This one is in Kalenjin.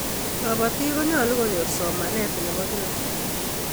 kabatik konyalun konyor somanet nebo kilaa